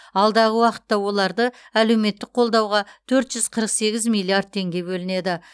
алдағы уақытта оларды әлеуметтік қолдауға төрт жүз қырық сегіз миллиард теңге бөлінеді